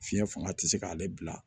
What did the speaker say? Fiɲɛ fanga ti se k'ale bila